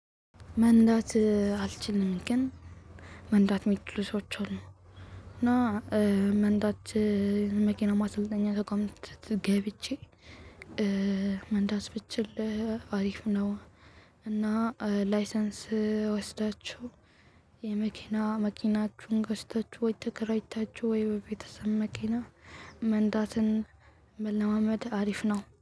መንዳት አልችልም ግን መንዳት የሚችሉ ሰዎች አሉ። እና መንዳት መኪና ማሰልጠኛ ተቋም ገብቼ መንዳት ብችል አሪፍ ነው። እና ላይሰንስ ወስዳችሁ፤ የመኪና መኪናችሁን ገዝታችሁ ወይም ተከራይታችሁ ወይም በቤተሰብ መኪና መንዳትን መለማመድ አሪፍ ነው።